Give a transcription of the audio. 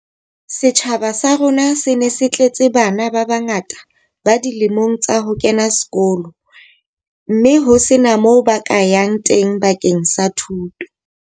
Setjhaba sa rona se ne se tletse bana ba bangata ba dilemong tsa ho kena sekolo mme ho sena moo ba ka yang teng bakeng sa thuto.